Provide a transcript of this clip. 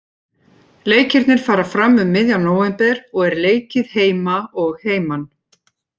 Leikirnir fara fram um miðjan nóvember og er leikið heima og heiman.